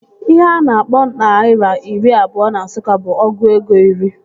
Ihe a na-akpọ naira iri abụọ na Nsụka bụ ọgụ ego iri